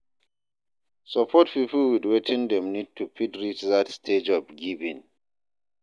Support pipo with wetin dem need to fit reach that stage of giving